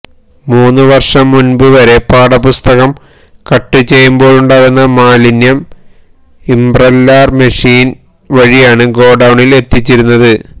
മൂന്ന് വര്ഷം മുന്പ് വരെ പാഠപുസ്തകം കട്ട് ചെയ്യുമ്പോഴുണ്ടാകുന്ന മാലിന്യം ഇമ്പ്രല്ലാര് മെഷീന് വഴിയാണ് ഗോഡൌണില് എത്തിച്ചിരുന്നത്